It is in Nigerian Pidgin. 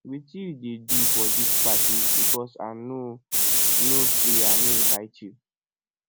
wetin you dey do for dis party because i no no say i no invite you